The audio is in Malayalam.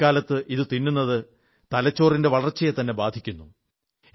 കുട്ടിക്കാലത്ത് ഇത് തിന്നുന്നത് തലച്ചോറിന്റെ വളർച്ചയെത്തന്നെ ബാധിക്കുന്നു